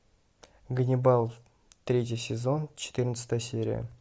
ганнибал третий сезон четырнадцатая серия